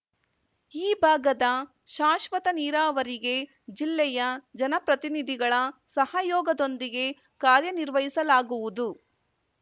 ಈ ಭಾಗದ ಶಾಶ್ವತ ನೀರಾವರಿಗೆ ಜಿಲ್ಲೆಯ ಜನಪ್ರತಿನಿಧಿಗಳ ಸಹಯೋಗದೊಂದಿಗೆ ಕಾರ್ಯನಿರ್ವಹಿಸಲಾಗುವುದು